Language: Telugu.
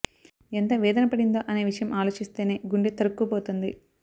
ఎంత వేధన పడిందో అనే విషయం ఆలోచిస్తేనే గుండె తరుక్కు పోతుంది